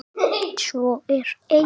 Svo er ei.